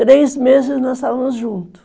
Três meses nós estávamos juntos.